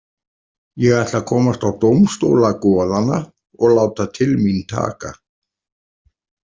Ég ætla að komast á dómstóla goðanna og láta til mín taka.